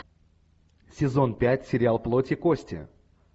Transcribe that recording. сезон пять сериал плоть и кости